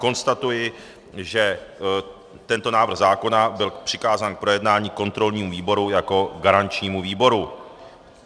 Konstatuji, že tento návrh zákona byl přikázán k projednání kontrolnímu výboru jako garančnímu výboru.